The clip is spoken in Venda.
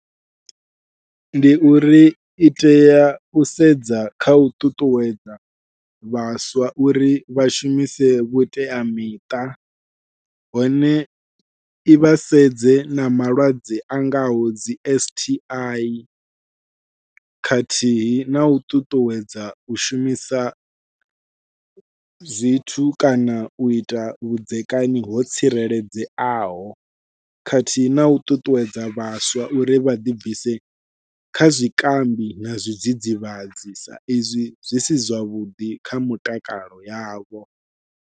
Ndi uri I tea u sedza kha u ṱuṱuwedza vhaswa uri vha shumise vhuteamiṱa, hone I vha sedze na malwadze a ngaho dzi S_T_I khathihi nau ṱuṱuwedza u shumisa zwithu kana uita vhudzekani ho tsireledzeaho khathihi nau ṱuṱuwedza vhaswa uri ḓi bvise kha zwikambi na zwidzidzivhadzi sa izwi zwi si zwavhuḓi kha mitakalo yavho.